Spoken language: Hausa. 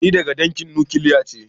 Ni daga dangin nukiliya ne.